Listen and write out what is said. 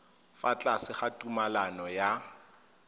fa tlase ga tumalano ya